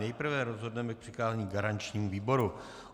Nejprve rozhodneme k přikázání garančnímu výboru.